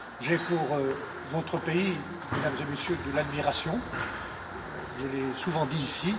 J'ai pour votre pays, Mesdames et Messieurs, de l'admiration, je l'ai souvent dit ici.